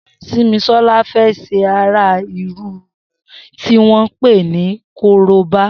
Simisola fè ṣé árá irùn tiwọn pé ni kóróbá